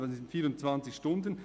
das sind 24 Stunden.